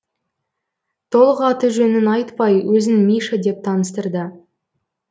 толық аты жөнін айтпай өзін миша деп таныстырды